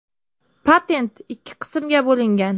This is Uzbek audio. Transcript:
Patent ikki qismga bo‘lingan.